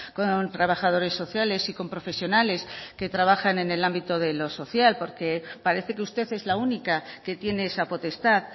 con trabajadores sociales y con profesionales que trabajan en el ámbito de lo social porque parece que usted es la única que tiene esa potestad